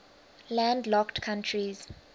landlocked countries